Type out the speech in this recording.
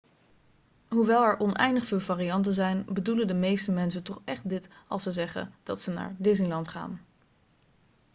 hoewel er oneindig veel varianten zijn bedoelen de meeste mensen toch echt dit als ze zeggen dat ze naar disneyland gaan'